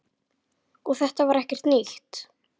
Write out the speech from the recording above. Og þetta er ekkert nýtt.